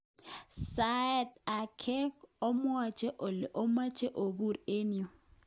Sait age obwote ole omoche obur eng yu.